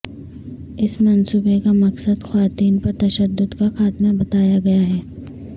اس منصوبے کا مقصد خواتین پر تشدد کا خاتمہ بتایا گیا ہے